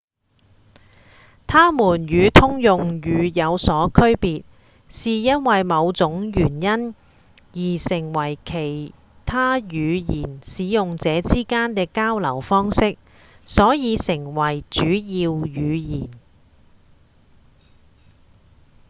它們與通用語有所區別是因某種原因而成為其他語言使用者之間的交流方式所以成為主要語言